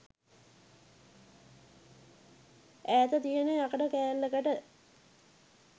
ඈත තියෙන යකඩ කෑල්ලකට